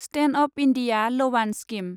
stand up India लवान scheme